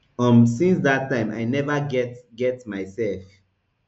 um since dat time i neva get get myself